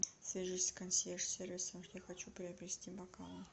свяжись с консьерж сервисом я хочу приобрести бокалы